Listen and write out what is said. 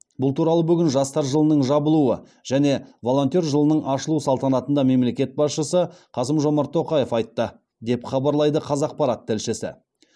бұл туралы бүгін жастар жылының жабылуы және волонтер жылының ашылу салтанатында мемлекет басшысы қасым жомарт тоқаев айтты деп хабарлайды қазақпарат тілшісі